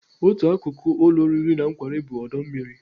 Otu akụkụ ụlọ oriri na nkwari bụ ọdọ mmiri.